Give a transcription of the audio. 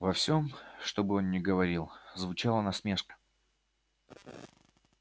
во всем что бы он ни говорил звучала насмешка